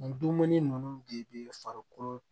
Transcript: Nin dumuni ninnu de bɛ farikolo